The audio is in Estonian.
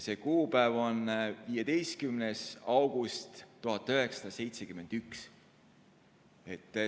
See kuupäev on 15. august 1971.